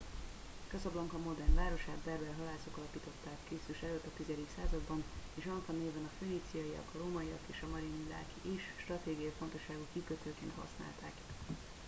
casablanca modern városát berber halászok alapították kr.e. a x. században és anfa néven a föníciaiak a rómaiak és a marinidák is stratégiai fontosságú kikötőként használták